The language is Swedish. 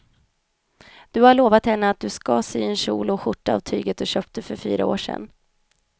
Du har lovat henne att du ska sy en kjol och skjorta av tyget du köpte för fyra år sedan.